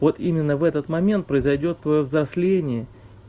вот именно в этот момент произойдёт твоё взросление